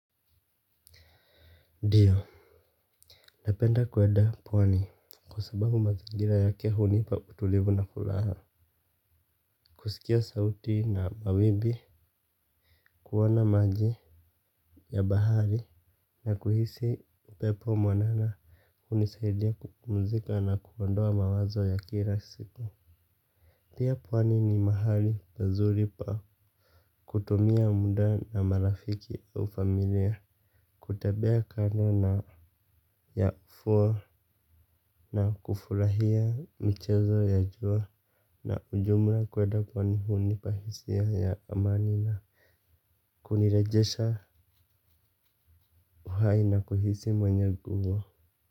Ndio, napenda kuenda pwani kwa sababu mazingira yake hunipa utulivu na furaha. Kusikia sauti na mawimbi kuona maji ya bahari na kuhisi upepo mwanana hunisaidia kupumzika na kuondoa mawazo ya kila siku. Pia pwani ni mahali pazuri pa kutumia muda na marafiki au familia kutembea kando ya ufuo na kufurahia michezo ya jua na ujumla kweda kwani hunipa hisia ya amani na kunirejesha uhai na kuhisi mwenye guvu.